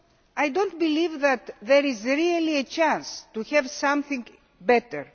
I do not believe that there is really a chance to have something better.